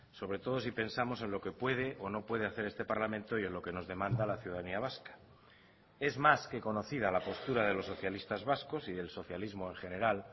sobre todo si pensamos en lo que puede o no puede hacer este parlamento y en lo que nos demanda la ciudadanía vasca es más que conocida la postura de los socialistas vascos y del socialismo en general